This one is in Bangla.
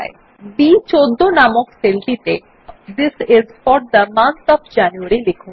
বি14 নামক সেলটিতে this is for the month of January লিখুন